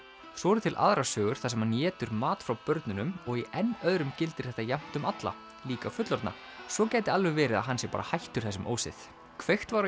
svo eru til aðrar sögur þar sem hann étur mat frá börnunum og í enn öðrum gildir þetta jafnt um alla líka fullorðna svo gæti alveg verið að hann sé bara hættur þessum ósið kveikt var